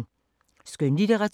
Skønlitteratur